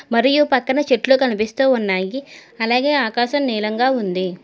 మరియు పక్కన చెట్లు కనిపిస్తూ ఉన్నాయి అలాగే ఆకాశం నీలంగా ఉంది.